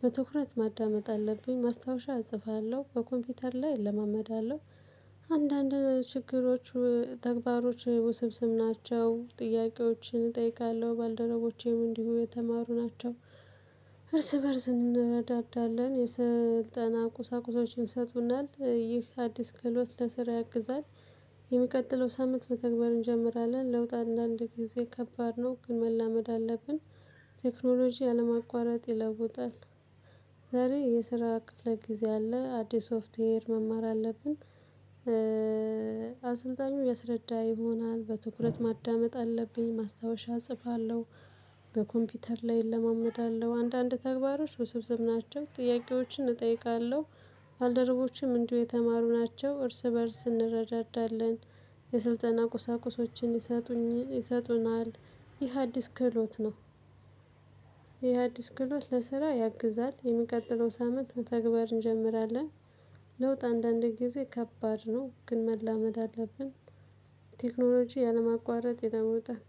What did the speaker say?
በትኩረት ማዳመጥ አለብኝ ማስታወሻ እጽፋለሁ በኮምፒውተር ላይ እለማመዳለሁ አንዳንድ ችግሮች ተግባሮች ውስብስብ ናቸው ጥያቄዎችን እጠይቃለሁ ባልደረቦቼም እንዲሁ የተማሩ ናቸው። እርስ በእርስ እንረዳዳለን የስልጠና ቁሳቁሶችን ይሰጡናል ይህ አዲስ ክህሎት ለስራ ያግዛል። የሚቀጥለው ሳምንት መተግበር እንጀምራለን ለውጥ አንዳንድ ጊዜ ከባድ ነው ግን መላመድ አለብን። ቴክኖሎጂ ያለማቋረጥ ይለውጣል። ዛሬ የስራ ክፍለ ጊዜ አለ አዲስ ሶፍትዌር መማር አለብን። አሰልጣኙ ያስረዳ ይሆናል በትኩረት ማዳመጥ አለብኝ ማስታወሻ እጽፋለሁ። በኮምፒውተር ላይ እለማመዳለሁ አንዳንድ ተግባሮች ውስብስብ ናቸው ጥያቄዎችን እጠይቃለሁ። ባልደረቦችም እንዲሁ የተማሩ ናቸው እርስ በእርስ እንረዳዳለን። የስልጠና ቁሳቁሶችን ይሰጡኝ ይሰጡናል። ይህ አዲስ ክህሎት ነው። ይህ አዲስ ክህሎት ለስራ ያግዛል የሚቀጥለው ሳምንት መተግበር እንጀምራለን። ለውጥ አንዳንዴ ጊዜ ከባድ ነው ግን መላመድ አለብን። ቴክኖሎጂ ያለማቋረጥ ይለውጣል።